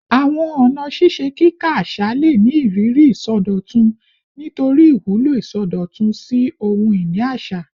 Awọn ọna ṣiṣe kika aṣa le ni iriri isọdọtun nitori iwulo isọdọtun si ohun-ini aṣa